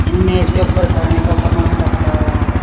इन मेज के ऊपर खाने का सामान रखा हुआ है।